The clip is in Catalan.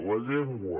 la llengua